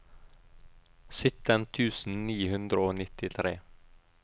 sytten tusen ni hundre og nittitre